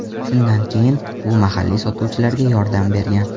Shundan keyin u mahalliy sotuvchilarga yordam bergan.